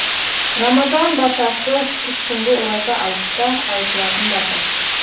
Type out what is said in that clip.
рамазан батасы үш күнгі ораза айтта айтылатын бата